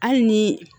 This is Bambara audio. Hali ni